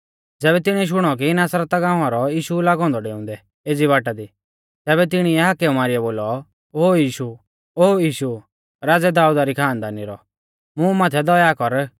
ज़ैबै तिणीऐ शुणौ कि नासरता गाँवा रौ यीशु लागौ औन्दौ डेउंदै एज़ी बाटा दी तैबै तिणिऐ हाकेउ मारीयौ बोलौ ओ यीशु राज़ै दाऊदा री खानदानी रौ मुं माथै दया कर